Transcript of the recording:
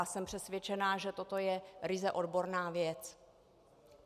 A jsem přesvědčená, že toto je ryze odborná věc.